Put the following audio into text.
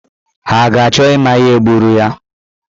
Ha ga-achọ ịma ihe gburu ya?